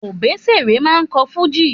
Òbésèré máa ń kọ́ fújì